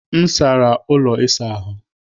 M sara ụlọ ịsa ahụ.